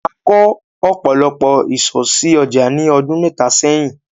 A kò ọ̀pọ̀lọpọ̀ ìsò sí ọjà ní ọdún mẹ́ta sẹ́yìn.